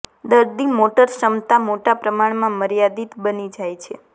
દર્દી મોટર ક્ષમતા મોટા પ્રમાણમાં મર્યાદિત બની જાય છે